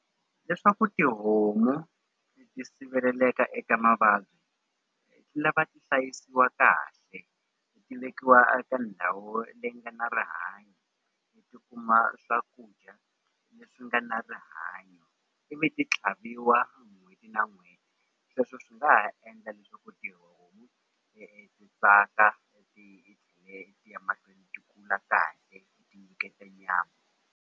Leswaku tihomu ti siveleleka eka mavabyi lava ti hlayisiwa kahle ti vekiwa a ka ndhawu leyi nga na rihanyo ti kuma swakudya leswi nga na rihanyo ivi ti tlhaviwa n'hweti na n'hweti sweswo swi nga ha endla ti tsaka ya mahlweni ti kula kahle ti nyiketa nyama.